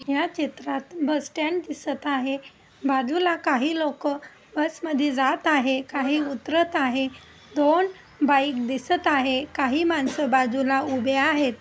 या चित्रात bus stand दिसत आहे. बाजूला काही लोक बस मध्ये जात आहे काही उतरत आहे. दोन बाइक दिसत आहे. काही माणसं बाजूला उभे आहेत.